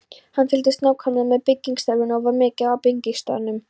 Hann fylgdist nákvæmlega með byggingarstarfinu og var mikið á byggingarstaðnum.